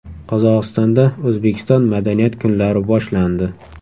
Qozog‘istonda O‘zbekiston madaniyat kunlari boshlandi .